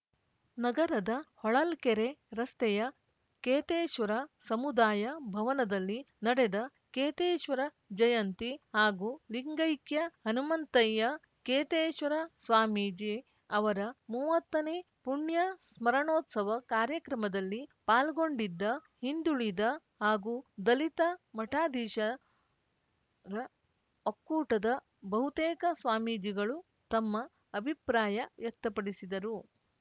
ನಗರದ ಹೊಳಲ್ಕೆರೆ ರಸ್ತೆಯ ಕೇತೇಶ್ವರ ಸಮುದಾಯ ಭವನದಲ್ಲಿ ನಡೆದ ಕೇತೇಶ್ವರ ಜಯಂತಿ ಹಾಗೂ ಲಿಂಗೈಕ್ಯ ಹನುಮಂತಯ್ಯ ಕೇತೇಶ್ವರ ಸ್ವಾಮೀಜಿ ಅವರ ಮೂವತ್ತನೇ ಪುಣ್ಯ ಸ್ಮರಣೋತ್ಸವ ಕಾರ್ಯಕ್ರಮದಲ್ಲಿ ಪಾಲ್ಗೊಂಡಿದ್ದ ಹಿಂದುಳಿದ ಹಾಗೂ ದಲಿತ ಮಠಾಧೀಶರ ಒಕ್ಕೂಟದ ಬಹುತೇಕ ಸ್ವಾಮೀಜಿಗಳು ತಮ್ಮ ಅಭಿಪ್ರಾಯ ವ್ಯಕ್ತಪಡಿಸಿದರು